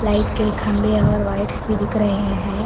Light के खंभे और वाइट्स भी दिख रहे हैं।